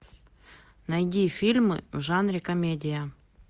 найди фильмы в жанре комедия